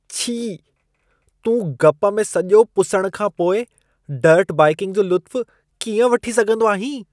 छी। तूं गप में सॼो पुसण खां पोइ डर्ट बाइकिंग जो लुत्फ कीअं वठी सघंदो आहीं?